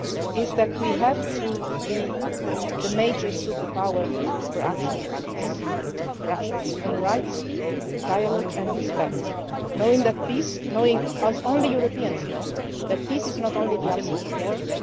in recent weeks is that we have to be the major superpower for action for peace, for action for human rights, dialogue and respect knowing, as only Europeans know, that peace is not only